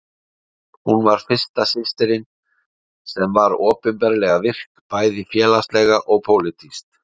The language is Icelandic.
Hún var fyrsta systirin sem var opinberlega virk, bæði félagslega og pólitískt.